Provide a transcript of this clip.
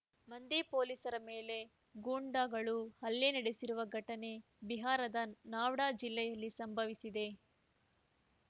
ಮಂದಿ ಪೊಲೀಸರ ಮೇಲೆ ಗೂಂಡಾಗಳು ಹಲ್ಲೆ ನಡೆಸಿರುವ ಘಟನೆ ಬಿಹಾರದ ನಾವ್ಡಾ ಜಿಲ್ಲೆಯಲ್ಲಿ ಸಂಭವಿಸಿದೆ